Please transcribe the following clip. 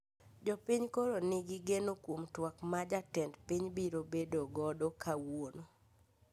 Jopiny koro ni gi geno kwom twak ma jatend piny biro bedo godo kawuono